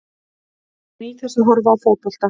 Ég bara nýt þess að horfa á fótbolta.